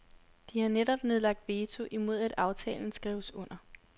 De har netop nedlagt veto imod at aftalen skrives under.